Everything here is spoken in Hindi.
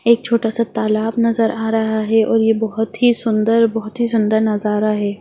एक छोटा - सा तालाब नज़र आ रहा है और ये बहुत ही सुंदर बहुत ही सुंदर नज़ारा है।